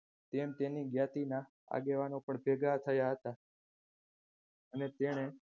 તેમ તેની જ્ઞાતિના આગેવાનો પણ ભેગા થયા હતા અને તેણે